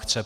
Chce.